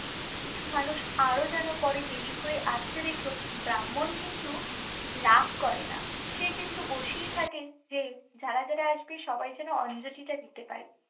কিছু মানুষ আরো যেন পরে দেরি করে আসছে দেখেও ব্রাহ্মণ কিন্তু রাগ করে না, সে কিন্তু বসেই থাকে যে যারা যারা আসবে সবাই যেন অঞ্জলিটা দিতে পারে।